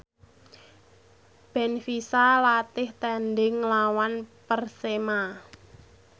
benfica latih tandhing nglawan Persema